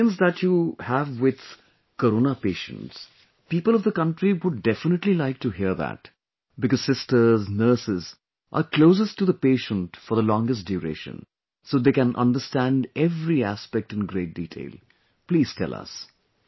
The experience that you have with Corona patients, people of the country would definitely like to hear that because sisters, nurses are closest to the patient for the longest duration, so they can understand every aspect in great detail...please tell us